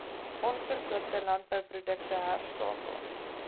onverkoopte landbouprodukte herstapel